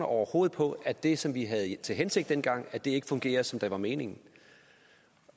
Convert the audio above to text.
overhovedet på at det som vi havde til hensigt dengang ikke fungerer som det var meningen